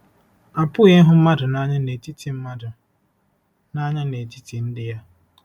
Apụghị ịhụ mmadụ nanya netiti mmadụ nanya netiti ndị ya.